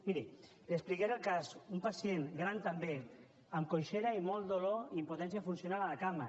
miri li explicaré el cas un pacient gran també amb coixesa i molt de dolor i impotència funcional a la cama